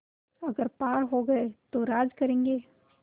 अगर पार हो गये तो राज करेंगे